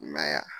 I m'a ye wa